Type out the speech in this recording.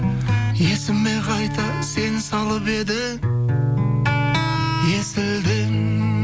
есіме қайта сен салып едің есілден